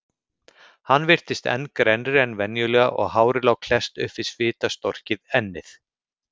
Hann virtist enn grennri en venjulega og hárið lá klesst upp við svitastorkið ennið.